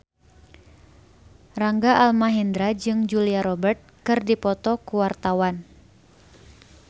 Rangga Almahendra jeung Julia Robert keur dipoto ku wartawan